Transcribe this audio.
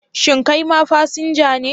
Shin kai ma fasinja ne?